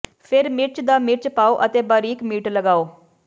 ਫਿਰ ਮਿਰਚ ਦਾ ਮਿਰਚ ਪਾਓ ਅਤੇ ਬਾਰੀਕ ਮੀਟ ਲਗਾਓ